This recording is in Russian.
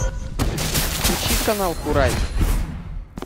включи канал курай